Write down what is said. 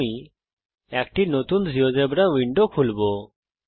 আমি একটি নতুন জীয়োজেব্রা উইন্ডো খুলবো